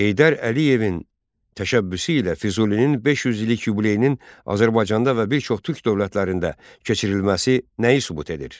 Heydər Əliyevin təşəbbüsü ilə Füzulinin 500 illik yubileyinin Azərbaycanda və bir çox türk dövlətlərində keçirilməsi nəyi sübut edir?